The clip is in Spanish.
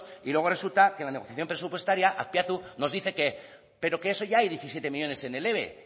y luego resulta que en la negociación presupuestaria azpiazu nos dice que pero que eso ya hay diecisiete millónes en el eve